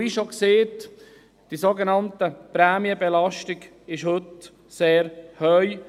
Wie schon gesagt, ist die Prämienbelastung heute sehr hoch.